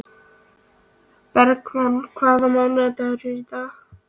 Bergmann, hvaða mánaðardagur er í dag?